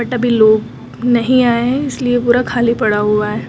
सभी लोग नहीं आए हैं इसलिए पूरा खाली पड़ा हुआ है।